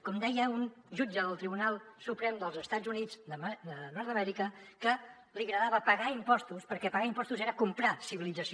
com deia un jutge del tribunal suprem dels estats units de nord amèrica que li agradava pagar impostos perquè pagar impostos era comprar civilització